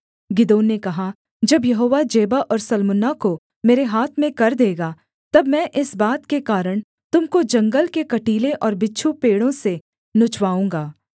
गिदोन ने कहा जब यहोवा जेबह और सल्मुन्ना को मेरे हाथ में कर देगा तब मैं इस बात के कारण तुम को जंगल के कटीले और बिच्छू पेड़ों से नुचवाऊँगा